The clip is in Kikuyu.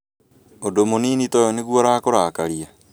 ũndũ mũnini toyũ nĩguo ũrakũrakarĩa